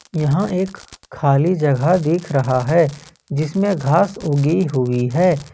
यहां एक खाली जगह देख रहा है जिसमें घास उगी हुई है।